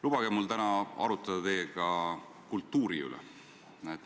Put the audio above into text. Lubage mul täna arutada teiega kultuuri üle.